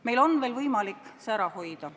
Meil on veel võimalik see ära hoida.